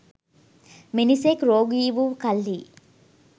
මිනිසෙක් රෝගී වූ කල්හි